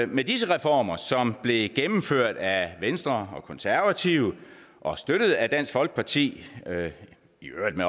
med disse reformer som blev gennemført af venstre og de konservative og støttet af dansk folkeparti i øvrigt med